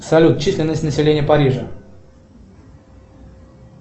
салют численность населения парижа